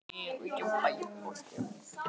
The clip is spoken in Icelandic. Sefur ekki Dísa, vinkona þín, hjá þér?